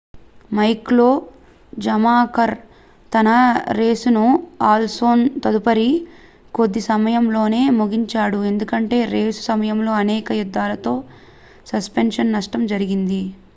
Michael Schumacher తన రేసును Alonso తదుపరి కొద్ది సమయంలోనే ముగించాడు ఎందుకంటే రేసు సమయంలో అనేక యుద్ధాలలో సస్పెన్షన్ నష్టం జరిగింది